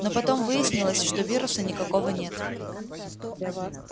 но потом выяснилось что вируса никакого нет